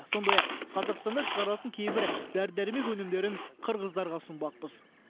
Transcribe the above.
сондай ақ қазақстанда шығарылатын кейбір дәрі дәрмек өнімдерін қырғыздарға ұсынбақпыз